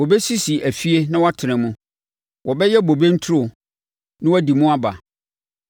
Wɔbɛsisi afie na wɔatena mu, wɔbɛyɛ bobe nturo na wɔadi mu aba.